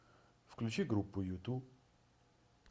включи группу юту